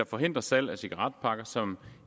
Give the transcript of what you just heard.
forhindre salg af cigaretpakker som